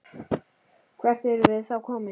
Hvert erum við þá komin?